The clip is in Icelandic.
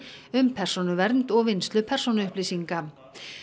um persónuvernd og vinnslu persónuupplýsinga